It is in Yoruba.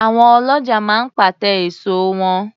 Àwọn ọlọ́ja máa ń pàte èso wọn